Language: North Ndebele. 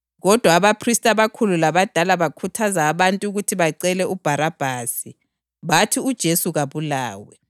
Kodwa abaphristi abakhulu labadala bakhuthaza abantu ukuthi bacele uBharabhasi, bathi uJesu kabulawe.